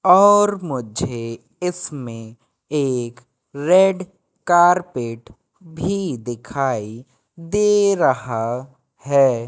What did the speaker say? और मुझे इसमे एक रेड कारपेट भी दिखाई दे रहा है।